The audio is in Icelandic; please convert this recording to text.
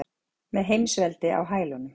Með heimsveldi á hælunum.